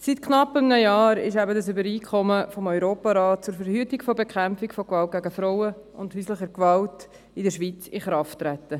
Seit knapp einem Jahr ist das Übereinkommen des Europarats zur Verhütung und Bekämpfung von Gewalt gegen Frauen und häuslicher Gewalt in der Schweiz in Kraft getreten.